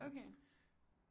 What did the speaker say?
Okay